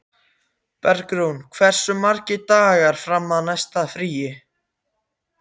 Bergrún, hversu margir dagar fram að næsta fríi?